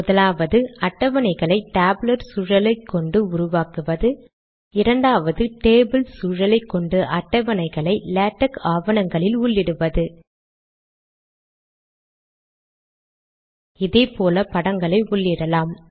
முதலாவது அட்டவணைகளை டேபுலார் சூழலைக் கொண்டு உருவாக்குவது இரண்டாவது டேபிள் சூழலை கொண்டு அட்டவணைகளை லேடக் ஆவணங்களில் உள்ளிடுவது இதே போல படங்களையும் உள்ளிடலாம்